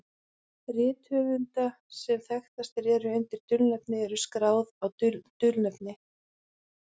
Rit höfunda sem þekktastir eru undir dulnefni eru skráð á dulnefnið.